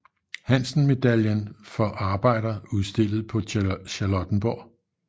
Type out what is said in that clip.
Hansen Medaillen for arbejder udstillet på Charlottenborg